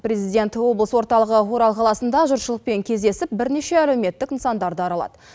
президент облыс орталығы орал қаласында жұртшылықпен кездесіп бірнеше әлеуметтік нысандарды аралады